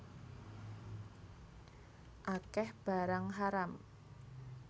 Akeh barang haram